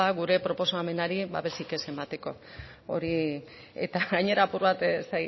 gure proposamenari babesik ez emateko hori eta gainera apur bat ez